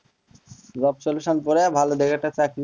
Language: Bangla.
job solution করার একটা ভালো দেখে চাকরি,